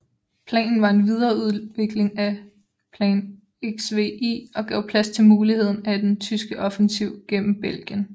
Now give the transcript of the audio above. Planen var en videreudvikling af Plan XVI og gav plads til muligheden af en tyske offensiv gennem Belgien